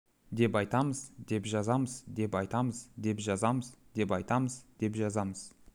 деп айтамыз деп жазамыз деп айтамыз деп жазамыз деп айтамыз деп жазамыз